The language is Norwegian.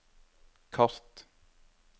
kart